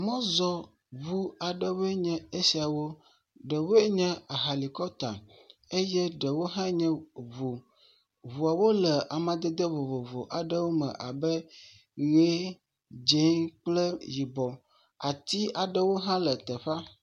Mɔzɔŋu aɖewoe nye esiawo, ɖewoe nye ahalikɔputa eye ɖewo nye ŋu, ŋuawo le amadede vovovo aɖewo me abe ʋe, dzɛ̃ kple yibɔ ati aɖewo hã le teƒea.